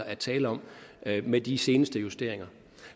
er tale om med de seneste justeringer